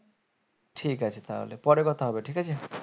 ঠিক আছে তাহলে পরে কথা হবে ঠিক আছে?